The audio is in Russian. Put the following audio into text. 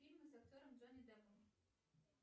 фильмы с актером джонни деппом